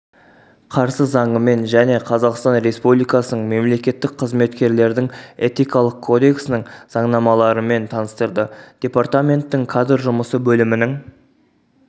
қарсы заңымен және қазақстан республикасының мемлекеттік қызметкерлердің этикалық кодексының заңнамаларымен таныстырды департаменттің кадр жұмысы бөлімінің